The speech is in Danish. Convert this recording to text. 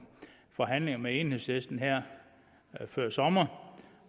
forhandlinger med enhedslisten før sommeren